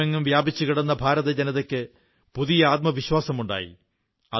ലോകമെങ്ങും വ്യാപിച്ചു കിടക്കുന്ന ഭാരത ജനതയ്ക്ക് പുതിയ ആത്മവിശ്വാസമുണ്ടായി